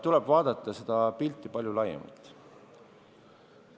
Tuleb vaadata pilti palju laiemalt.